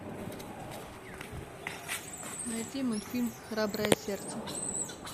найти мультфильм храброе сердце